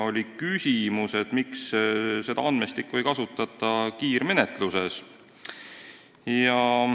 Oli küsimus, miks seda andmestikku ei kasutata kiirmenetluses.